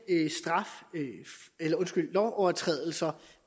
lovovertrædelser